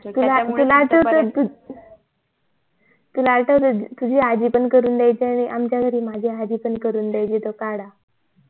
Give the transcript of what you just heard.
तुला तुला आठवतंय तुला आठवतंय तुझी आज्जी पण करून द्याची आणि णि आमच्या घरी माझी आजी पण करून द्याची तो काढा